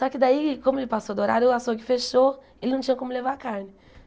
Só que daí, como ele passou do horário, o açougue fechou, ele não tinha como levar a carne.